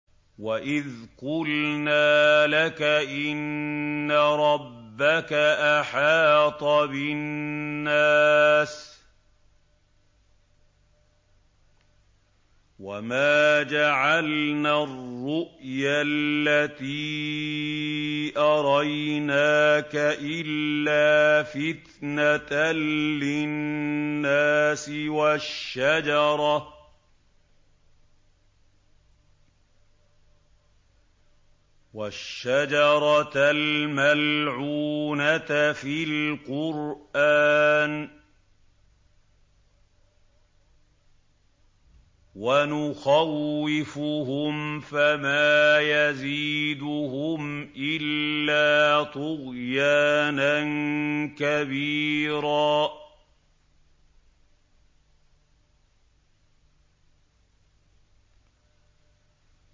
وَإِذْ قُلْنَا لَكَ إِنَّ رَبَّكَ أَحَاطَ بِالنَّاسِ ۚ وَمَا جَعَلْنَا الرُّؤْيَا الَّتِي أَرَيْنَاكَ إِلَّا فِتْنَةً لِّلنَّاسِ وَالشَّجَرَةَ الْمَلْعُونَةَ فِي الْقُرْآنِ ۚ وَنُخَوِّفُهُمْ فَمَا يَزِيدُهُمْ إِلَّا طُغْيَانًا كَبِيرًا